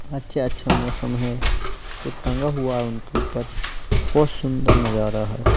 अच्छा अच्छा मौसम है कुछ टंगा हुआ है इनके ऊपर बहोत सुंदर नजारा है।